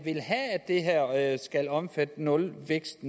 vil have at skal omfatte nulvækst